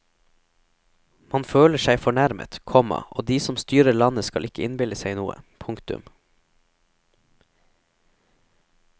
Man føler seg fornærmet, komma og de som styrer landet skal ikke innbille seg noe. punktum